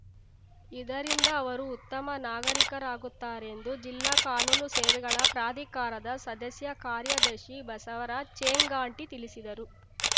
ಇದರಿಂದ ಅವರು ಉತ್ತಮ ನಾಗರೀಕರಾಗುತ್ತಾರೆ ಎಂದು ಜಿಲ್ಲಾ ಕಾನೂನು ಸೇವೆಗಳ ಪ್ರಾಧಿಕಾರದ ಸದಸ್ಯ ಕಾರ್ಯದರ್ಶಿ ಬಸವರಾಜ್‌ ಚೇಂಗಾಟಿ ತಿಳಿಸಿದರು